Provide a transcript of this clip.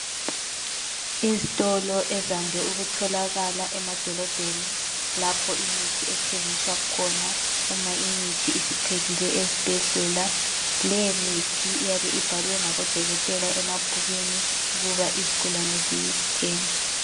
Izitolo ezande ukutholakala emadolobheni lapho imithi ethengiswa khona uma imithi isiphelile ezibhedlela. Leyomithi iyabe ibhalwe ngabodokotela emabhukwini ukuba izigulane ziyithenge.